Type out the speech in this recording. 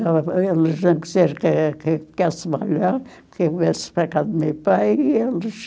Eles não quiseram que que eu ficasse malhada, que eu viesse para casa do meu pai e eles...